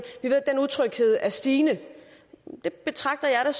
er stigende det betragter jeg da